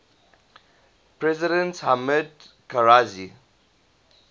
president hamid karzai